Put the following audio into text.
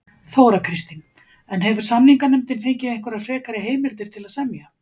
Þóra Kristín: En hefur samninganefndin fengið einhverjar frekar heimildir til að semja?